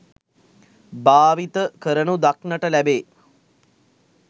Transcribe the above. භාවිත කරනු දක්නට ලැබේ